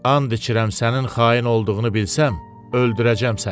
And içirəm sənin xain olduğunu bilsəm, öldürəcəm səni.